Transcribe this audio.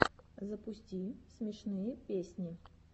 запусти смешные песни